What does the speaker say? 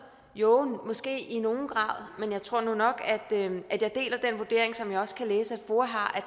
jo måske i nogen grad men jeg tror nu nok at jeg deler den vurdering som jeg også kan læse at foa har